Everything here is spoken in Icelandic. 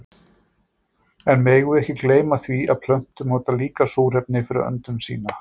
En við megum ekki gleyma því að plöntur nota líka súrefni fyrir öndun sína.